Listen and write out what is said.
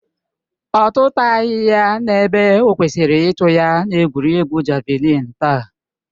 Ọ tụtaghi ya ebe o kwesịrị ịtụ ya na egwuregwu javalịn taa